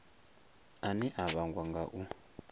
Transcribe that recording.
ane a vhangwa nga u